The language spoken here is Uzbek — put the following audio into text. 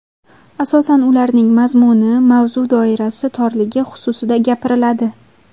Asosan ularning mazmuni, mavzu doirasi torligi xususida gapiriladi.